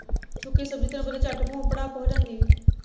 ਸੁੱਕੀ ਸਬਜ਼ੀ ਤੈਨੂੰ ਪਤਾ ਝੱਟ ਭੂ ਭੜੱਕ ਹੋ ਜਾਂਦੀ ਆ।